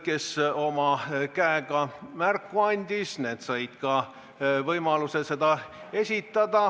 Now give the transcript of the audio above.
Kes käega märku andis, need said ka võimaluse seda esitada.